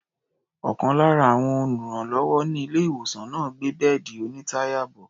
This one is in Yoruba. Ọ̀kan lára àwọn olùrànlọ́wọ́ ní ilé-ìwòsàn náà ń gbé bẹ́ẹ̀dì onítàyà bọ̀.